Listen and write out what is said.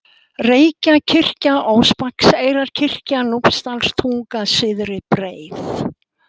Reykjakirkja, Óspakseyrarkirkja, Núpsdalstunga, Syðri-Breið